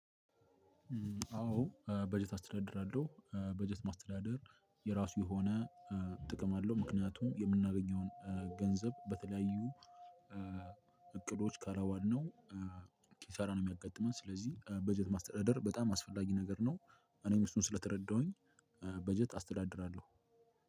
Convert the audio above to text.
አዎ በጀት አስተዳድራለሁ በጀት ማስተዳደር የራሱ የሆነ ጥቅም አለው። ምክንያቱም የምናገኘውን ገንዘብ በተለያዩ እቅዶች ካላዋልነው ኪሳራ ነው የሚያጋጥመን። ስለዚህ በጀት ማስተዳደር በጣም አስፈላጊ ነገር ነው። እኔም እሱን ስለተረዳሁኝ በጀት አስተዳድራለሁ።